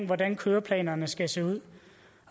hvordan køreplanerne skal se ud